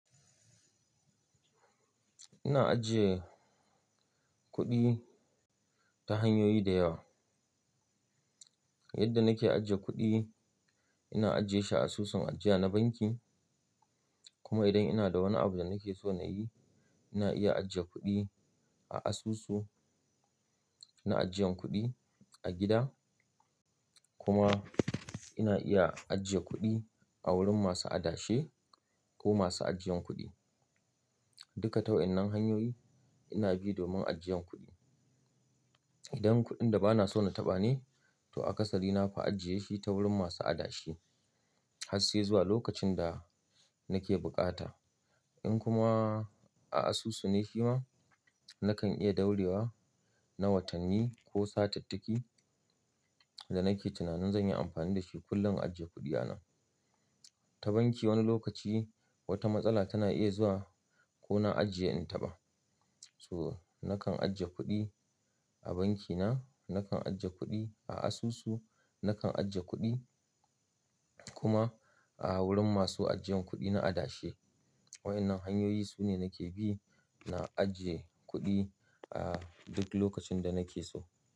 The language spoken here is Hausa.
Ina ajiye kuɗi ta hanyoyi da yawa. Yadda nake ajiye kuɗi, ina ajiyeshi a asusun ajiya na banki. Kuma idan ina da wani abu da nake so na yi, ina iya ajiye kuɗi a asusu na ajiyan kuɗi a gida. Kuma ina iya ajiye kuɗi a wurin masu adashe ko masu ajiyan kuɗi. Duka ta wayennan hanyoyi ina bi domin ajiyan kuɗi. Idan kuɗin da bana so na taɓa ne, to a akasari nafi ajiye shi ta wurin masu adashe ha sai zuwa lokacin da nake bukata. In kuma a asusu ne shi ma, nakan iya daurewa na watanni ko satattaki da nake tunanin zan yi amfani da shi kullum in ajiye kuɗi anan. Ta banki wani lokaci wata matsala tana iya zuwa ko na ajiye in taɓa. So nakan ajiye kuɗi a banki na, nakan ajiye kuɗi a asusu, nakan ajiye kuɗi kuma a wurin masu ajiyan kuɗi na adashe. Wa'inan hanyoyi su ne nake bi na ajiye kuɗi a duk lokacin da nake so.